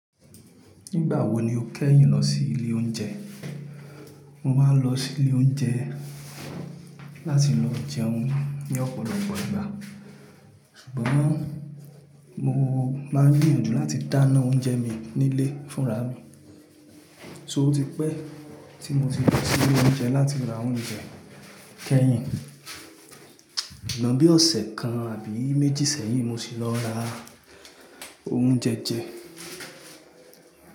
Nígbà wo ni o kẹ́yìn lọ sí ilé oúnjẹ? Mo máa ń lọ sí ilé oúnjẹ láti lọ jẹun ní ọ̀pọ̀lọpọ̀ ìgbà, ṣùgbọ́n mo máa ń gbiyanjú láti dáná oúnjẹ mi nílé fúnra mi. So otí pẹ́ tí mo ti lọ sí ilé oúnjẹ láti ra oúnjẹ kẹ́yìn. Sugbon bí ọ̀sẹ̀ kan àbí méjì sẹ́yìn mo sì lọ ra oúnjẹ jẹ.